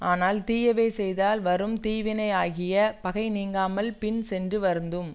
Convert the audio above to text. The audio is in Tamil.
ஆனால் தீயவை செய்தால் வரும் தீவினையாகிய பகை நீங்காமல் பின் சென்று வருத்தும்